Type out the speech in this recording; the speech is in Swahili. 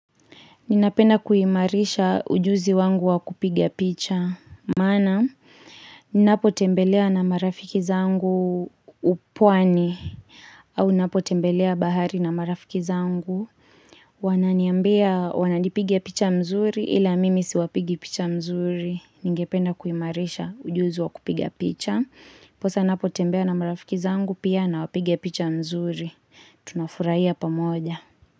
Ninapena kuhimarisha ujuzi wangu wakupigia picha. Mana, ninapo tembelea na marafiki zangu upwani. Au, ninapo tembelea bahari na marafiki zangu. Wananiambea wanadipigia picha mzuri ila mimi siwapigia picha mzuri. Ninepena kuhimarisha ujuzi wakupigia picha. Posa, ninapo tembelea na marafiki zangu pia na wapigia picha mzuri. Tunafuraiya pa moja.